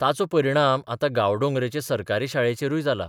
ताचो परिणाम आतां गांवडोंगरेचे सरकारी शाळेचेरूय जाला.